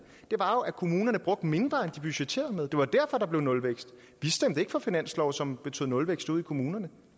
var jo at kommunerne brugte mindre end de budgetterede med det var derfor der blev nulvækst vi stemte ikke for finanslove som betød nulvækst ude i kommunerne